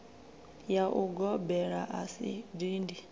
ya ugobela a si dindi